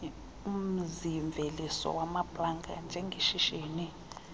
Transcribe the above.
umzimveliso wamaplanga njengeshishini